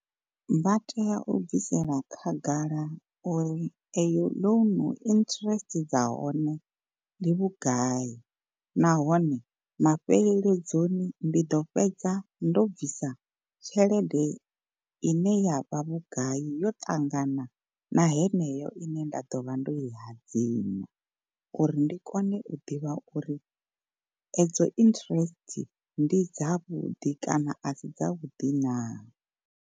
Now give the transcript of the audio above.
Vha tea u bvisela khagala uri eyo loan interest dza hone ndi vhugai, nahone mafheleledzoni ndi ḓo fhedza ndo bvisa tshelede ine yavha vhugai yo ṱangana na heneyo ine nda ḓo vha ndo i hadzima, uri ndi kone u ḓivha uri edzo interest ndi dzavhuḓi kana a si dza vhuḓi na.